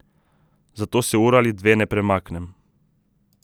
Zato se uro ali dve ne premaknem.